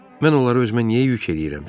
Mən onları özümə niyə yük eləyirəm ki?